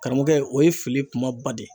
Karamɔgɔkɛ , o ye fili kumaba de ye.